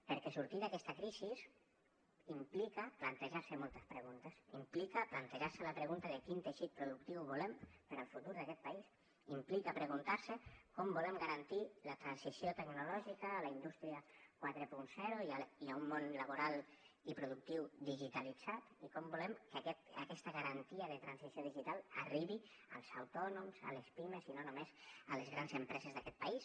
perquè sortir d’aquesta crisi implica plantejar se moltes preguntes implica plantejar se la pregunta de quin teixit productiu volem per al futur d’aquest país implica preguntar se com volem garantir la transició tecnològica a la indústria quaranta i a un món laboral i productiu digitalitzat i com volem que aquesta garantia de transició digital arribi als autònoms a les pimes i no només a les grans empreses d’aquest país